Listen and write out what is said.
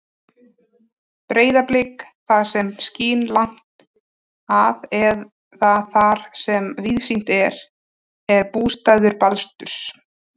Breiðablik, það sem skín langt að eða þar sem víðsýnt er, er bústaður Baldurs.